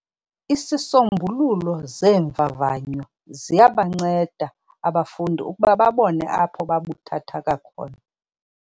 Izisombululo zeemvavanyo ziyabanceda abafundi ukuba babone apho babuthathaka khona.